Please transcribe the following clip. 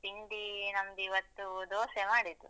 ತಿಂಡಿ ನಮ್ದಿವತ್ತು ದೋಸೆ ಮಾಡಿದ್ದು.